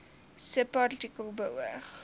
subartikel beoog